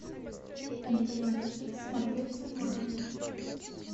нтв хит смотреть онлайн